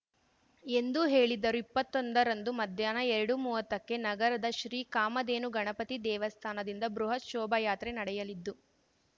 ಎಂದು ಹೇಳಿದರು ಇಪ್ಪತ್ತೊಂದರಂದು ಮಧ್ಯಾಹ್ನ ಎರಡುಮುವತ್ತಕ್ಕೆ ನಗರದ ಶ್ರೀ ಕಾಮಧೇನು ಗಣಪತಿ ದೇವಸ್ಥಾನದಿಂದ ಬೃಹತ್‌ ಶೋಭಾಯಾತ್ರೆ ನಡೆಯಲಿದ್ದು